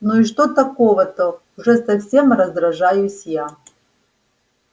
ну и что такого-то уже совсем раздражаюсь я